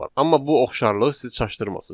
Amma bu oxşarlıq sizi çaşdırmasın.